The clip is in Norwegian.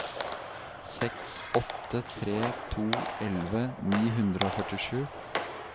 seks åtte tre to elleve ni hundre og førtisju